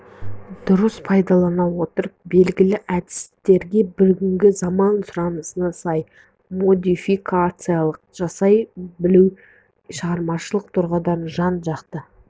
дұрыс пайдалана отырып белгілі әдістерге бүгінгі заман сұранысына сай модификация жасай білу шығармашылық тұрғыда жан-жақты